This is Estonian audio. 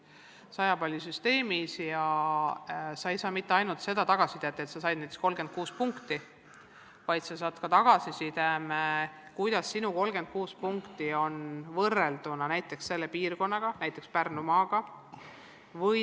See on 100 palli süsteemis ja sa ei saa mitte ainult tagasisidet, et sa said näiteks 36 punkti, vaid sa saad ka tagasiside, kuidas sinu 36 punkti on võrrelduna tulemustega selles piirkonnas, näiteks Pärnumaal.